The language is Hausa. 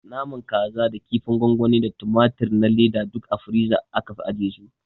Naman kasa da kinfin gwangwani da tumatur na leda duk a firiza aka fi ajiye su